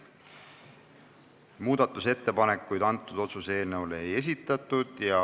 Muudatusettepanekuid otsuse eelnõu kohta ei esitatud.